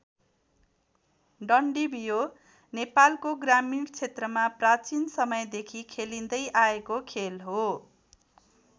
डन्डीबियो नेपालको ग्रामिण क्षेत्रमा प्राचीन समयदेखि खेलिँदै आएको खेल हो।